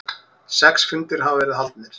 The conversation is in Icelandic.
Sex fundir hafa verið haldnir.